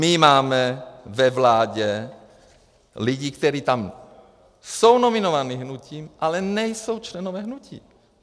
My máme ve vládě lidi, kteří tam jsou nominováni hnutím, ale nejsou členové hnutí.